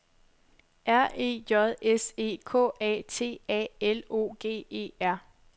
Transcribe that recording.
R E J S E K A T A L O G E R